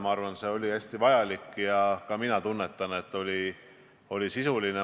Ma arvan, et see oli hästi vajalik, ja ka mina tunnen, et see arutelu oli sisuline.